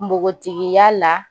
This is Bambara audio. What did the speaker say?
Nbogotigiya la